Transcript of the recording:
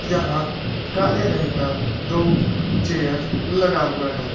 जहाँ काले रंग का दो चेयर लगा हुआ है।